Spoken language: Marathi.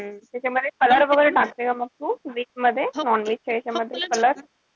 त्याच्यामध्ये color वगैरे टाकते का मग तू? मध्ये? Non-veg च्या यांच्यामध्ये color?